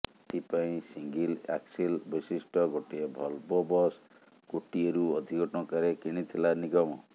ଏଥିପାଇଁ single axle ବିଶିଷ୍ଟ ଗୋଟିଏ ଭଲ୍ଭୋ ବସ୍ କୋଟିଏରୁ ଅଧିକ ଟଙ୍କାରେ କିଣିଥିଲା ନିଗମ